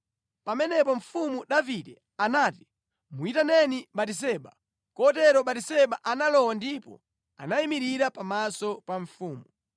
Pamenepo mfumu Davide anati, “Muyitaneni Batiseba.” Kotero Batiseba analowa ndipo anayimirira pamaso pa mfumu.